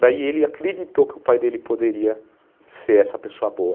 Daí ele acreditou que o pai dele poderia ser essa pessoa boa.